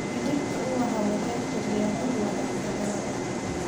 Dhirta ubaxa waxay kordhiyaan ur wanaagsan hawada.